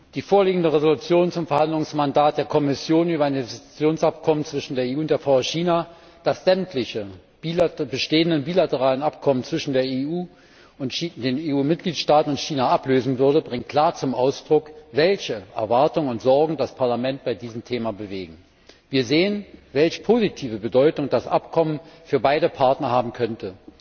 Die vorliegende Entschließung zum Verhandlungsmandat der Kommission über ein Investitionsabkommen zwischen der EU und der VR China, das sämtliche bestehenden bilateralen Abkommen zwischen der EU, den EU Mitgliedstaaten und China ablösen würde, bringt klar zum Ausdruck, welche Erwartungen und Sorgen das Parlament bei diesem Thema bewegen. Wir sehen, welch positive Bedeutung das Abkommen für beide Partner haben könnte.